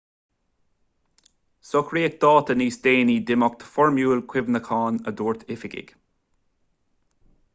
socraíodh dáta níos déanaí d'imeacht foirmiúil cuimhneacháin a dúirt oifigigh